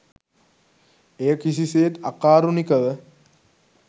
එය කිසිසේත් අකාරුණිකව